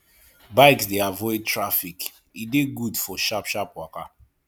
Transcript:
bikes de avoid traffic e de good for sharp sharp waka